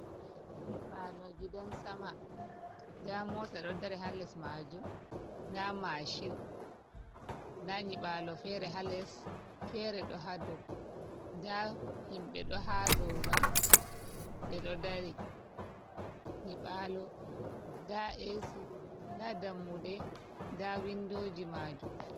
Nyiɓalo gidan sama nda mota ɗo dari ha les majum, nda mashin nda nyibalo fere ɗo ha dou, da himbe ɗo ha dou mai ɓeɗo dari, nyiɓalo da yasi da dammude da windoji majum.